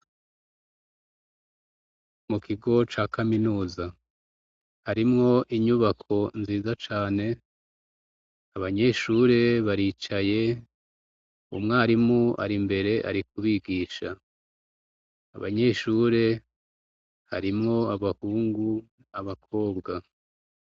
Mu kigo ca Kaminuza, harimwo inyubako nziza cane, abanyeshure baricaye, umwarimu ari imbere ari kubigisha. Abanyeshure harimwo abahungu, abakobwa.